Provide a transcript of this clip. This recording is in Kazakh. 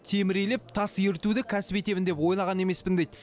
темір илеп тас ерітуді кәсіп етемін деп ойлаған емеспін дейді